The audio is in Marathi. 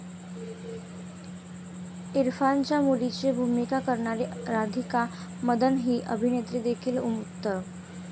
इरफानच्या मुलीची भूमिका करणारी राधिका मदन ही अभिनेत्रीदेखील उत्तम.